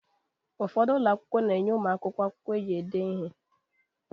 Ụfọdụ ụlọ akwụkwọ na-enye ụmụ akwụkwọ akwụkwọ eji ede ihe